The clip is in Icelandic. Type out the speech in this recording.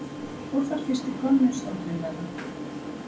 Fór þar fyrsti könnustóllinn þeirra?